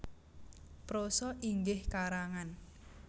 Prosa inggih karangan